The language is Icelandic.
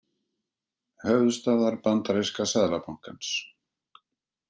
Höfuðstöðvar bandaríska seðlabankans.